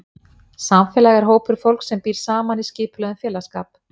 Samfélag er hópur fólks sem býr saman í skipulögðum félagsskap.